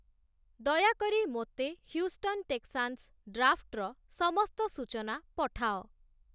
ଦୟାକରି ମୋତେ Houston Texans ଡ୍ରାଫ୍ଟ୍‌ର ସମସ୍ତ ସୂଚନା ପଠାଅ